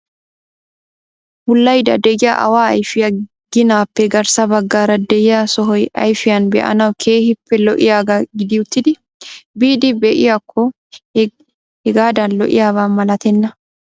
wullaydda de'iyaa awa ayfiya ginappe garssa baggaara de'iyaa sohoy ayfiyaan be'anawu keehippe lo''iyaaga gidi uttidi biidi be''iyaakko hegadan lo''iyaaba malattenna.